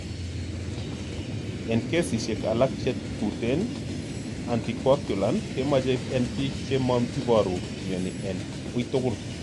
En kesisiek alak che tuten anticoagulant kemoche en pik chemo iporu mioni en uitugul.